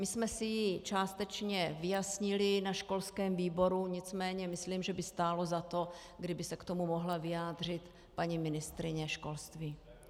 My jsme si ji částečně vyjasnili na školském výboru, nicméně myslím, že by stálo za to, kdyby se k tomu mohla vyjádřit paní ministryně školství.